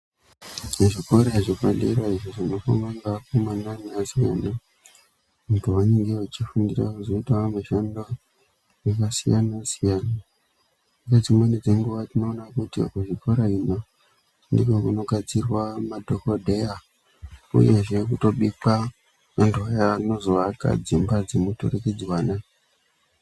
Muzvikora zvepadera zvinofundwaa nevakomana nevasikana uku kwavanenge vachifundira kuzoita mishando yakasiyana siyana , nedzimweni dzenguva tinoona kuti kuchikoro ino ndiko kunogadzirwaa madhokodheyaa ,uyezve kutobikwaa vantu vaya vanozovaka dzimba dzemururikidzwana.